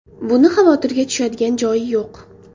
Buni xavotirga tushadigan joyi yo‘q.